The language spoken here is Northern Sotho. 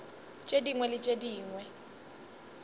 tše dingwe le tše dingwe